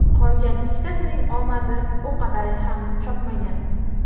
Qolgan ikkitasining omadi u qadar ham chopmagan.